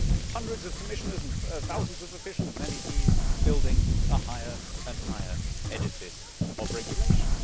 we do not need hundreds of Commissioners and thousands of officials and MEPs building a higher and higher edifice of regulation.